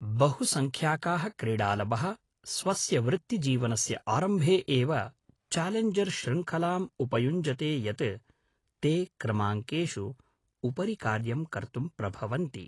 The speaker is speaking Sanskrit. बहु संख्याकाः क्रीडालवः स्वस्य वृत्तिजीवनस्य आरम्भे एव चालेञ्जर् श्रृङ्खलाम् उपयुञ्जते यत् ते क्रमाङ्केषु उपरि कार्यं कर्तुं प्रभवन्ति